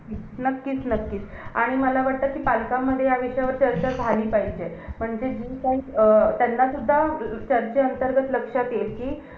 आणि अर्ध्याच्या वरती पुण्याला पोरं जातात.